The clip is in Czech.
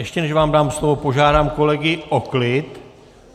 Ještě než vám dám slovo, požádám kolegy o klid.